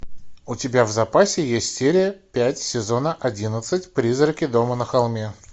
у тебя в запасе есть серия пять сезона одиннадцать призраки дома на холме